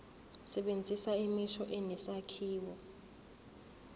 sebenzisa imisho enesakhiwo